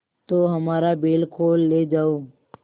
तो हमारा बैल खोल ले जाओ